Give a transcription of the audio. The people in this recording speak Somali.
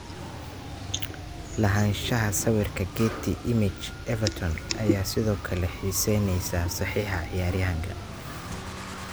(Guardian) Lahaanshaha sawirka Getty Images Everton ayaa sidoo kale xiiseyneysa saxiixa ciyaaryahanka.